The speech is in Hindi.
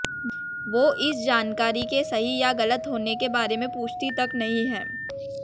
वो इस जानकारी के सही या गलत होने के बारे में पुछती तक नहीं है